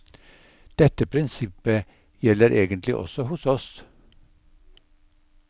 Dette prinsippet gjelder egentlig også hos oss.